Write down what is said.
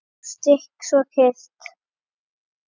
Svo stillt, svo kyrrt.